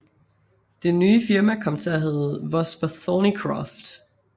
Det nye firma kom til at hedde Vosper Thornycroft